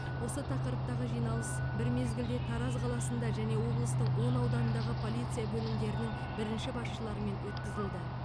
осы тақырыптағы жиналыс бір мезгілде тараз қаласында және облыстың он ауданындағы полиция бөлімдерінің бірінші басшыларымен өткізілді